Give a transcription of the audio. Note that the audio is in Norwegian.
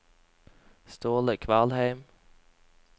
Ståle Kvalheim